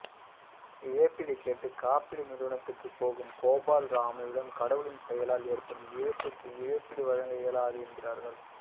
இழப்பீடு கேட்டு காப்பீடு நிறுவனத்துக்குப் போகும் கோபால் ராவிடம் கடவுளின் செயலால் ஏற்படும் இழப்புக்கு இழப்பீடு வழங்க இயலாது என்கிறார்கள்